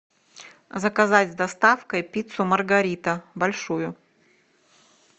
заказать с доставкой пиццу маргарита большую